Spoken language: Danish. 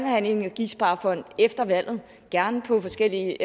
have en energisparefond efter valget og gerne på forskellige